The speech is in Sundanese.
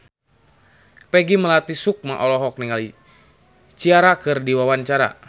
Peggy Melati Sukma olohok ningali Ciara keur diwawancara